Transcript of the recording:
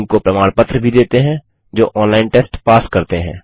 उनको प्रमाण पत्र भी देते हैं जो ऑनलाइन टेस्ट पास करते हैं